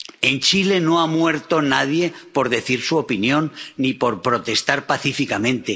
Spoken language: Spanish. En Chile no ha muerto nadie por decir su opinión ni por protestar pacíficamente